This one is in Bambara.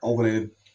Anw kɔni